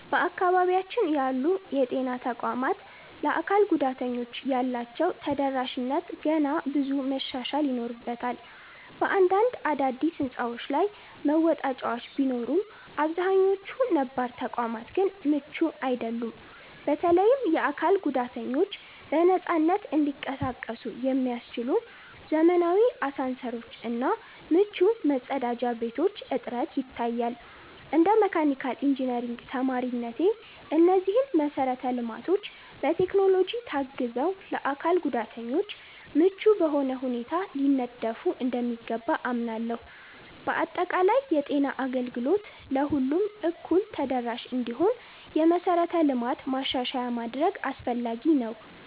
በአካባቢያችን ያሉ የጤና ተቋማት ለአካል ጉዳተኞች ያላቸው ተደራሽነት ገና ብዙ መሻሻል ይኖርበታል። በአንዳንድ አዳዲስ ሕንፃዎች ላይ መወጣጫዎች ቢኖሩም፣ አብዛኛዎቹ ነባር ተቋማት ግን ምቹ አይደሉም። በተለይም የአካል ጉዳተኞች በነፃነት እንዲንቀሳቀሱ የሚያስችሉ ዘመናዊ አሳንሰሮች እና ምቹ መጸዳጃ ቤቶች እጥረት ይታያል። እንደ መካኒካል ኢንጂነሪንግ ተማሪነቴ፣ እነዚህ መሰረተ ልማቶች በቴክኖሎጂ ታግዘው ለአካል ጉዳተኞች ምቹ በሆነ ሁኔታ ሊነደፉ እንደሚገባ አምናለሁ። በአጠቃላይ፣ የጤና አገልግሎት ለሁሉም እኩል ተደራሽ እንዲሆን የመሠረተ ልማት ማሻሻያ ማድረግ አስፈላጊ ነው።